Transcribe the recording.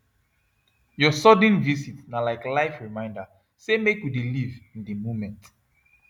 your sudden visit na like life reminder say make we dey live in the moment